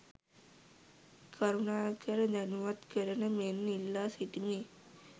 කරුණාකර දැනුවත් කරන මෙන් ඉල්ලා සිටිමි.